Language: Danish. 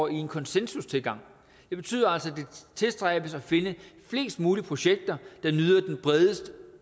en konsensustilgang det betyder altså at det tilstræbes at finde flest mulige projekter der nyder den bredest